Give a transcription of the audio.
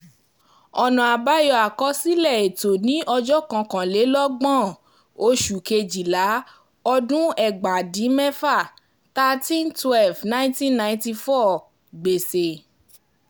ọ̀nà àbáyọ àkọsílẹ̀ ètò ní ọjọ́ kọkànlélọ́gbọ̀n oṣù kejìlá ọdún ẹgbàá dín mẹ́fà ( thirty one / twelve / nineteen ninety four ) gbèsè